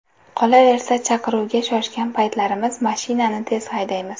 Qolaversa, chaqiruvga shoshgan paytlarimiz mashinani tez haydaymiz.